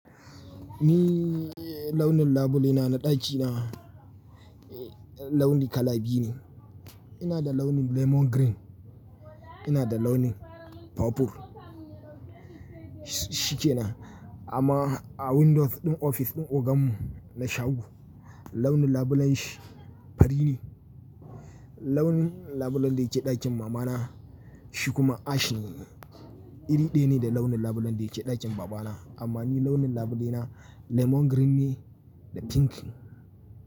Ni launin labule na na ɗaki na launi kala biyu ne. Ina da launin lemon green, ina da launin purple. Shikenan amma a windows ɗin ofis ɗin ogan mu na shago launin labulen shi fari ne. Launin labulen da yake ɗakin mama na shi kuma ash ne, iri ɗaya ne da launin labulen da yake ɗakin baba na. Amma ni launin labule na lemon green ne da pink.